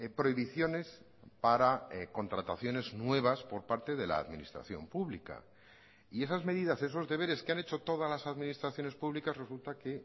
prohibiciones para contrataciones nuevas por parte de la administración pública y esas medidas esos deberes que han hecho todas las administraciones públicas resulta que